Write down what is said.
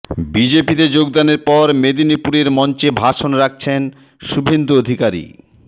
বিজেপিতে যোগদানের পর মেদিনীপুরের মঞ্চে ভাষণ রাখছেন শুভেন্দু অধিকারী